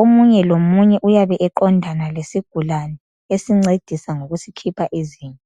omunye lomunye uyabe eqondana lesigulane esincedisa ngokusikhupha izinye.